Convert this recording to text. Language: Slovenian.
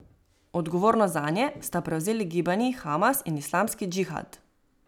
Odgovornost zanje sta prevzeli gibanji Hamas in Islamski džihad.